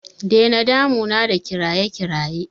Dena damuna da kiraye kiraye!